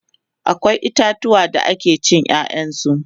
akwai itatuwa da ake cin ƴaƴan su